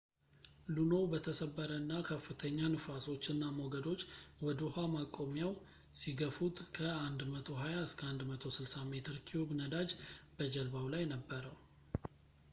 ሉኖው በተሰበረ እና ከፍተኛ ንፋሶች እና ሞገዶች ወደ ውሃ ማቆሚያው ሲገፉት ከ120-160 ሜትር ኪዩብ ነዳጅ በጀልባው ላይ ነበረው